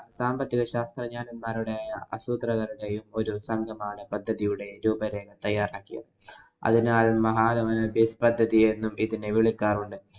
സാമ്പത്തിക ശാസ്ത്രജ്ഞന്‍മാരുടെയും, അസൂത്രകരുടെയും ഒരു സംഘമാണ് പദ്ധതിയുടെ രൂപരേഖ തയ്യാറാക്കിയത്. അതിനാല്‍ മഹലനോബിസ് പദ്ധതി എന്നും ഇതിനെ വിളിക്കാറുണ്ട്.